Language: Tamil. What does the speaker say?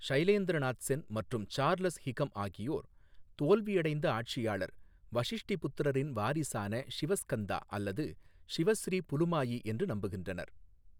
ஷைலேந்திர நாத் சென் மற்றும் சார்லஸ் ஹிகம் ஆகியோர் தோல்வியடைந்த ஆட்சியாளர் வஷிஷ்டிபுத்திரரின் வாரிசான ஷிவஸ்கந்தா அல்லது ஷிவ ஸ்ரீ புலுமாயி என்று நம்புகின்றனர்.